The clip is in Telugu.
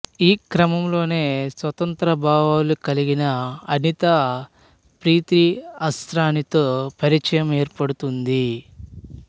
ఈ క్రమంలోనే స్వతంత్ర భావాలు కలిగిన అనిత ప్రీతి అస్రానితో పరిచయం ఏర్పడుతుంది